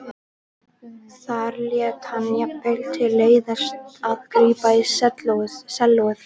Þar lét hann jafnvel til leiðast að grípa í sellóið.